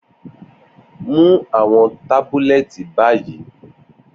Mu awọn tabulẹti bayi!